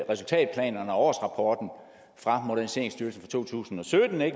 resultatplanerne og årsrapporten fra moderniseringsstyrelsen to tusind og sytten